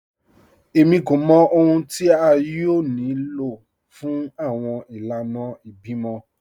Èmí kò mọ̀ ọ̀hun tí a yóò ní ló fún awọn ìlànà ìbímọ